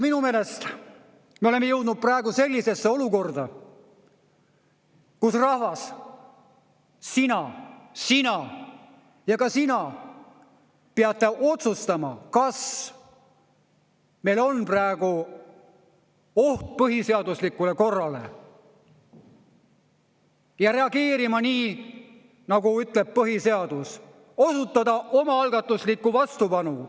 Minu meelest me oleme jõudnud praegu sellisesse olukorda, kus, rahvas, sina, sina ja ka sina peate otsustama, kas meil on praegu oht põhiseaduslikule korrale, ja reageerima nii, nagu ütleb põhiseadus: osutada omaalgatuslikku vastupanu.